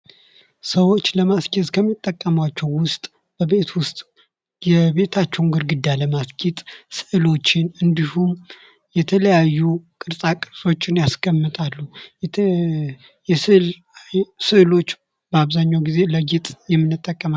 ሰዎች ለማስጌጥ ከሚጠቀሙባቸው ውስጥ በቤት ውስጥ ግድግዳን ለማስጌጥ ስዕሎችን እንዲሁም ደግሞ የተለያዩ ቅርፃ ቅርፆችን ያስቀምጣሉ ስዕሎች በአብዛኛው ግዜ ለማስጌጥ የምንጠቀማቸው